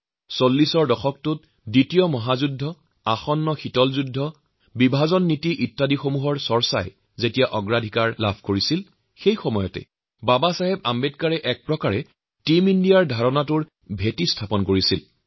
৪০ৰ দশকত যেতিয়া সমগ্ৰ পৃথিৱীত দ্বিতীয় বিশ্বযুদ্ধ দুই শক্তিশালী ক্ষমতাৰ মাজত শীতলযুদ্ধ আৰু দেশভাগৰ দুশ্চিন্তাত উদ্বিগ্ন হৈ আছিল ঠিক সেই সময়ত ড০ আম্বেদকাৰে টীম ইণ্ডিয়া অথবা ভাৰতৰ আত্মাৰ কল্পনা কৰিছিল